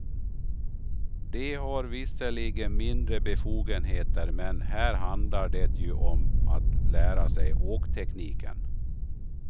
De har visserligen mindre befogenheter, men här handlar det ju om att lära sig åktekniken.